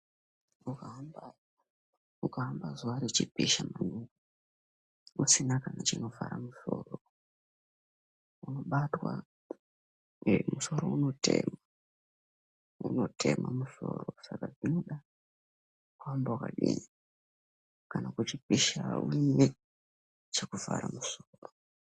Ukahamba, ukahamba zuwa rechipisha usina kana chinovhara musoro unobatwa ngemusoro unotema, unotema musoro. Saka unoda kuhamba wakadini? Kana kwechipisha une chekuvhara musoro.